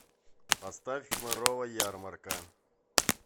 поставь хмырова ярмарка